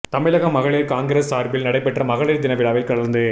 தமிழக மகளிர் காங்கிரஸ் சார்பில் நடைபெற்ற மகளிர் தின விழாவில் கலந்து